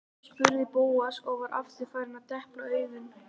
spurði Bóas og var aftur farinn að depla augunum.